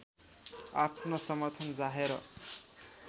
आफ्नो समर्थन जाहेर